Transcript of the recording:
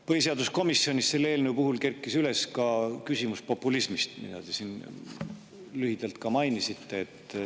Põhiseaduskomisjonis kerkis selle eelnõu puhul üles küsimus populismist, mida te ka siin lühidalt mainisite.